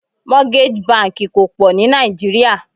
Mortgage banki kò pọ̀ ní Naijiria.